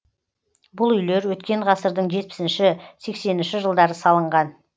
бұл үйлер өткен ғасырдың жетпісінші сексенінші жылдары салынған